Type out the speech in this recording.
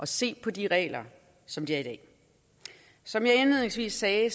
se på de regler som de er i dag som jeg indledningsvis sagde